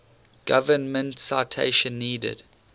government citation needed